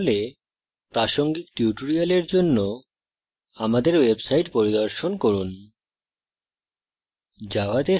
না হলে প্রাসঙ্গিক tutorial জন্য আমাদের website পরিদর্শন করুন